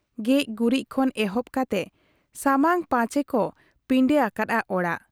ᱜᱮᱡ ᱜᱩᱨᱤᱡ ᱠᱷᱚᱱ ᱮᱦᱚᱵ ᱠᱟᱛᱮ ᱥᱟᱢᱟᱝ ᱯᱟᱪᱮ ᱠᱚ ᱯᱤᱸᱰᱟᱹ ᱟᱠᱟᱫ ᱟ ᱚᱲᱟᱜ ᱾